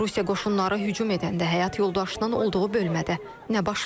Rusiya qoşunları hücum edəndə həyat yoldaşının olduğu bölmədə nə baş verdi?